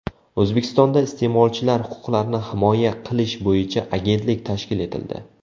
O‘zbekistonda iste’molchilar huquqlarini himoya qilish bo‘yicha agentlik tashkil etildi.